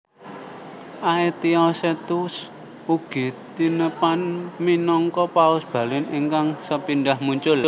Aetiosetus ugi tinepang minangka paus Balin ingkang sepindhah muncul